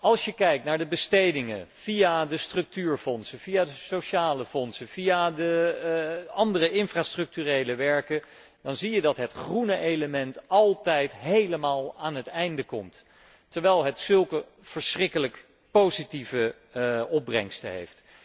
Als je kijkt naar de bestedingen via de structuurfondsen, via de sociale fondsen, via de andere infrastructurele werken, dan zie je dat het groene element altijd helemaal aan het einde komt, terwijl het zulke verschrikkelijk positieve opbrengsten heeft.